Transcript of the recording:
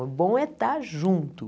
O bom é estar junto.